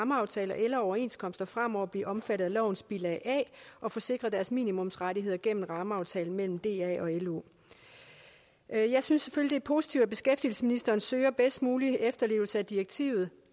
rammeaftaler eller overenskomster fremover blive omfattet af lovens bilag a og få sikret deres minimumsrettigheder gennem rammeaftalen mellem da og lo jeg jeg synes selvfølgelig positivt at beskæftigelsesministeren søger bedst mulig efterlevelse af direktivet